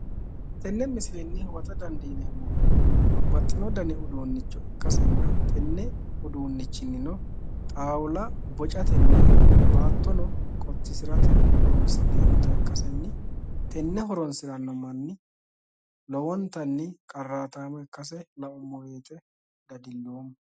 tenne misilenni huwata dandiineemmohu babbaxino dani uduunnicho ikkasenna tenne uduunnichinino xaaula bocatenna baatto qottisirate horonsi'neemmota ikkasenni tenne horonsiranno manni lowontanni qarraataamo ikkase laummo woyiite dadilloommo